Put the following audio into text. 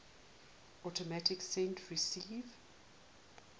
automatic send receive